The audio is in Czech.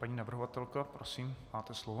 Paní navrhovatelka, prosím, máte slovo.